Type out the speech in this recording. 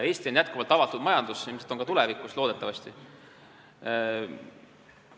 Eesti on jätkuvalt avatud majandusega riik, loodetavasti on see nii ka tulevikus.